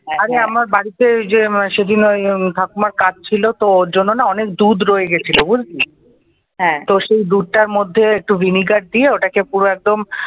আরে আমার বাড়িতে যে আমার ঠাকুরমার কাজ ছিল ওটা ওর জন্য না অনেক দুধ রয়ে গিয়েছিল বুঝলি তো সেই দুধটার মধ্যে একটু ভিনেগার দিয়ে তো ওটাকে পুরো একদম